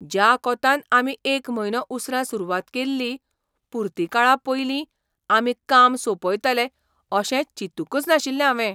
ज्या कोंतान आमी एक म्हयनो उसरां सुरवात केल्ली, पुर्तीकाळा पयलीं आमी काम सोंपयतले अशें चिंतूकच नाशिल्लें हांवें.